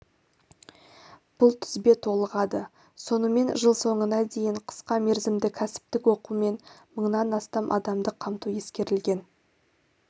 бұл тізбе толығады сонымен жыл соңына дейін қысқа мерзімді кәсіптік оқумен мыңнан астам адамды қамту ескерілген